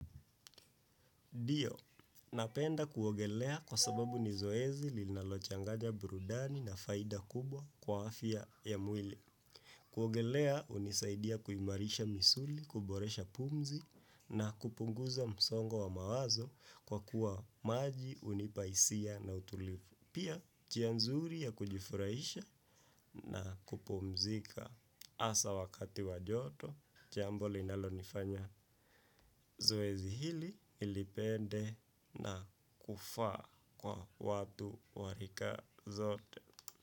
Ndiyo, napenda kuogelea kwa sababu ni zoezi linalochanganya burudani na faida kubwa kwa afya ya mwili. Kuogelea hunisaidia kuimarisha misuli, kuboresha pumzi na kupunguza msongo wa mawazo kwa kuwa maji hunipa hisia na utulivu. Pia njia nzuri ya kujifurahisha na kupumzika hasa wakati wa joto jambo linalonifanya zoezi hili nilipende na kufaa kwa watu wa rika zote.